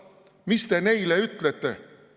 Mis te neile ütlete?